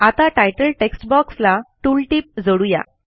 आता तितले text box ला टूल टिप जोडू या